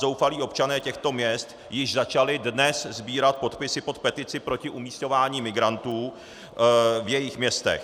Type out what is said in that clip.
Zoufalí občané těchto měst již začali dnes sbírat podpisy pod petici proti umisťování migrantů v jejich městech.